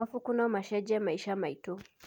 Mabuku no macenjie maica maitũ.